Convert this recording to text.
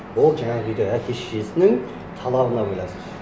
ол жаңағы үйде әке шешесінің талабына байланысты